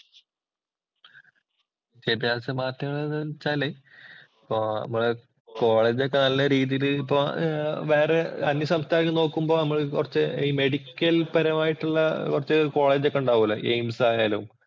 വിദ്യാഭ്യാസ മാറ്റങ്ങള്‍ എന്ന് വച്ചാല് അപ്പോ നമ്മടെ കോളേജ് ഒക്കെ നല്ല രീതിയില് അപ്പൊ വേറെ അന്യസംസ്ഥാനത്ത് നോക്കുമ്പോ അവിടെത്തെ ഈ മെഡിക്കല്‍പരമായിട്ടുള്ള കൊറച്ച് കോളേജ് ഒക്കെ ഒണ്ടാവൂലോ. AIMS ആയാലും